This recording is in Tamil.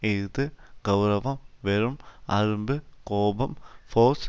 இஃது கெளரவம் வெறும் அரும்பு கோபம் ஃபோர்ஸ்